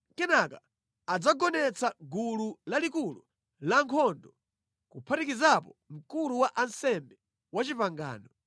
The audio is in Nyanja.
Kenaka adzagonetsa gulu lalikulu lankhondo kuphatikizapo Mkulu wa Ansembe wapangano.